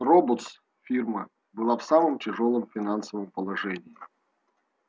роботс фирма была в самом тяжёлом финансовом положении